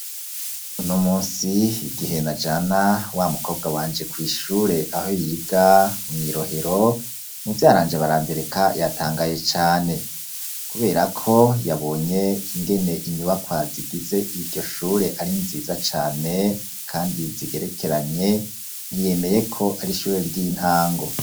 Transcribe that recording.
Uno munsi igihe najana wa mukobwa wanje kw'ishure aho yiga mw'i Rohero muvyaranje Barandereka yatangaye cane, kubera ko yabonye ingene inyubakwa zigize iryo shure ari nziza cane kandi nzigerekeranye ntiyemeye ko ari ishure ry'intango.